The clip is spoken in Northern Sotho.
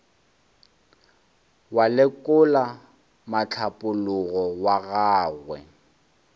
wa lekola mohlapologo wa gagwe